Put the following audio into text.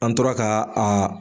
An tora ka a